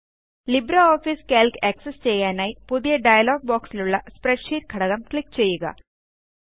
LibreOffice Calc access ചെയ്യാനായി പുതിയ dialog ബോക്സിലുള്ള സ്പ്രെഡ്ഷീറ്റ് ഘടകം ക്ലിക്ക് ചെയ്യുക